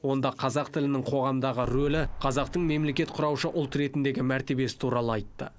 онда қазақ тілінің қоғамдағы рөлі қазақтың мемлекет құраушы ұл ретіндегі мәртебесі туралы айтты